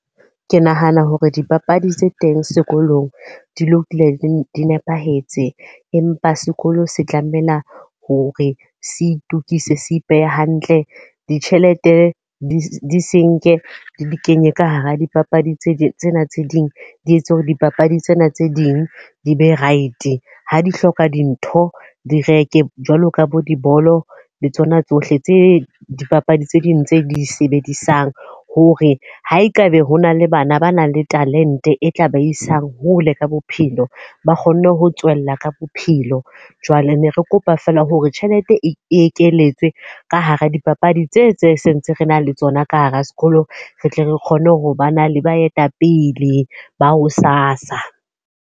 Ke nahana hore dipapadi tse teng sekolong di lokile di di nepahetse. Empa sekolo se tlamela hore se itokise se ipehe hantle. Ditjhelete di senke di kenye ka hara dipapadi tse ding tsena tse ding di etse hore dipapadi tsena tse ding di be right. Ha di hloka dintho, di reke jwalo ka bo dibolo le tsona tsohle tse dipapadi tse ding tse di sebedisang. Hore ha e ka be ho na le bana ba nang le talente e tla ba isang hole ka bophelo. Ba kgonne ho tswella ka bophelo. Jwale ne re kopa fela hore tjhelete e ekeletswe ka hara dipapadi tse tse sentse re na le tsona ka hara sekolo. Re tle re kgone ho ba na le baetapele ba ho sasa.